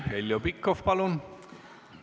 Heljo Pikhof, palun!